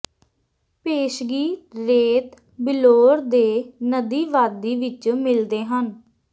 ਪੇਸ਼ਗੀ ਰੇਤ ਬਿਲੌਰ ਦੇ ਨਦੀ ਵਾਦੀ ਵਿਚ ਮਿਲਦੇ ਹਨ